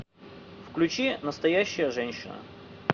включи настоящая женщина